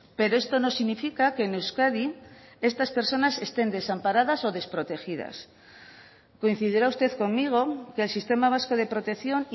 pero esto no significa que en euskadi estas personas estén desamparadas o desprotegidas coincidirá usted conmigo que el sistema vasco de protección